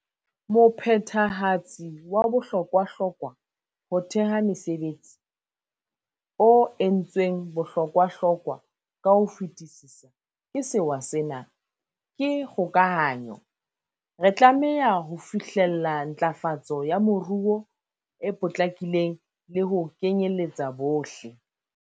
Mophethehatsi wa bohlokwahlokwa ho theha mesebetsi, o entsweng bohlokwahlokwa ka ho fetisisa ke sewa sena, ke kgokahanyo. Re tlameha ho fihlella ntlafa tso ya moruo e potlakileng le ho kenyeletsa bohle.